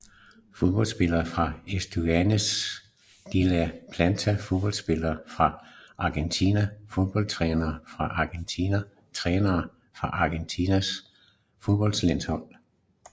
Fodboldspillere fra Estudiantes de La Plata Fodboldspillere fra Argentina Fodboldtrænere fra Argentina Trænere for Argentinas fodboldlandshold